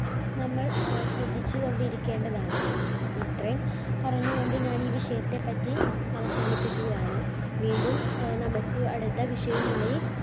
നമ്മൾ ആഹ് ശ്രദ്ധിച്ചുകൊണ്ടിരിക്കേണ്ടതാണ് ഇത്രെയും പറഞ്ഞു കൊണ്ട് ഞാൻ ഈ വിഷയത്തെ പറ്റി അവസാനിപ്പിക്കുകയാണ്. വീണ്ടും ആഹ് നമുക്ക് അടുത്ത വിഷയ വുമായി